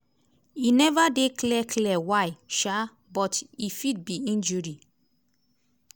e never dey clear clear why um but e fit be injury.